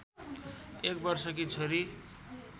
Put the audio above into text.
एक वर्षकी छोरी